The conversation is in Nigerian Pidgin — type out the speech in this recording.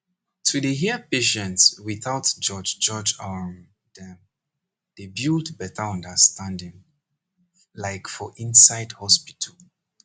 to dey hear patient without judge judge um dem dey build better understanding like for inside hospital